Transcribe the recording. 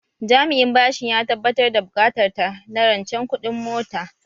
Jami'in bashin ya tabbatar da buƙatar ta na rancen kuɗin mota